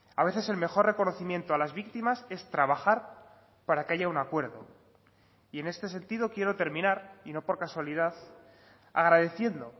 a veces el mejor reconocimiento a las víctimas es trabajar para que haya un acuerdo y en este sentido quiero terminar y no por casualidad agradeciendo